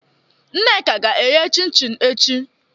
Nneka ga-ehee chin-chin echi